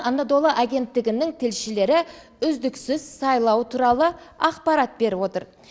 анадолу агенттігінің тілшілері үздіксіз сайлау туралы ақпарат беріп отыр